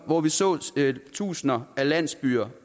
og vi så tusinder af landsbyer